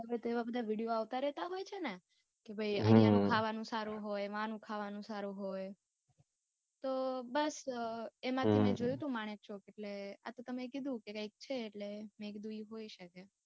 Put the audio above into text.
ગમે તે બધા Video આવતા રહેતા હોય છે ને. કે ભાઈ આહિયા નું ખાવા નું સારું હોય વહા નું ખાવા નું સારું હોય. તો બસ એમાં થી મેં જોયું હતું માણેક ચોક એટલે આતો તમે કીધું કઈક છે એટલે મેં કીધું ઈ હોઈ શકે.